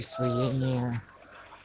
освоение